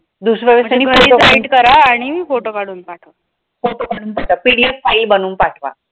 दुसर करा आणि photo काढून पाठवा PDFfile बनवून पाठवा.